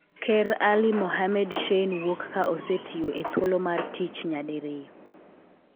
Ker Ali Mohammed Shein wuok ka osetiyo e thuolo mar tich nyadiriyo.